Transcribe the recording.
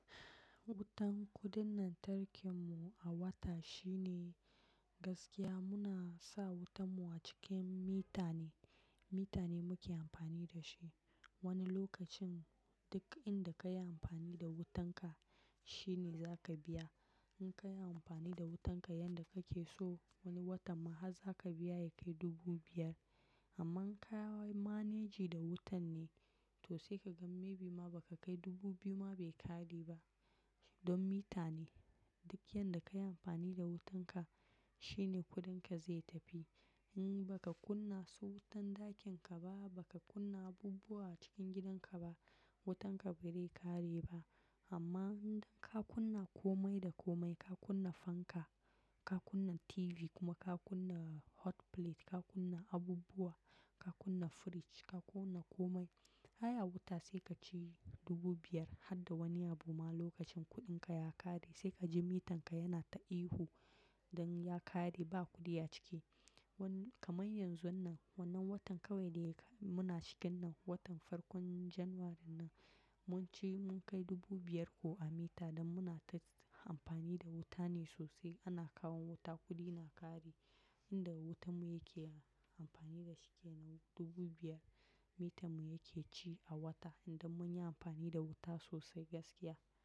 Wutan, kuɗin lantarkin mu a wata shi ne gaskiya muna sa wutan mu a cikin mita ne, mita ne muke amfani da shi. Wani lokacin duk inda ka yi amfani da wutan ka, shi ne za ka biya. In ka yi amfani da wutan ka yanda kake so, wani watan ma har za ka biya ya kai dubu biyar. Amma ka yi manejin da wutan ne, to sai ka ga maybe ma ba ka kai dubu biyu ma bai ƙare ba. Don mita ne, duk yanda ka yi amfani da wutan ka, shi ne kuɗin ka za tafi. In ba ka kunna su wutan ɗakin ka ba, ba ka kunna abubuwa a cikin gidan ka ba, wutan ka bai dai ƙare ba. Amma idan ka kunna komai da komai, ka kunna fanka, ka kunna TV, kuma ka kunna hotplate, ka kunna abubuwa, ka kunna fridge, ka kunna komai, ai wata sai ka ci dubu biyar har da wani abu ma lokacin kuɗin ka ya ƙare sai ka ji mitan ka yana ta ihu don ya ƙare ba kuɗi a ciki. Wannan, kamar yanzu wannan, wannan watan kawai ne muna cikin nan, watan farkon Janairu nan. Mun ci, mun kai dubu biyar ko a mita don muna ta amfani da wuta ne sosai. Ana kawo wuta, kuɗi na ƙare. Inda wutan mu yake, amfani da shi ke dubu biyar. Mita mu yake ci a wata idan mun yi amfani da wuta sosai gaskiya.